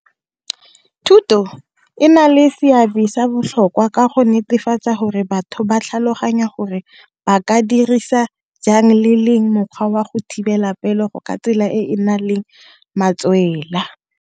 Thuto e na le seabe sa botlhokwa ka go netefatsa gore batho ba tlhaloganya gore ba ka dirisa jang mokgwa wa go thibela pelego ka tsela e e na leng matswela.